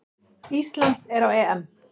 Ísland er á EM!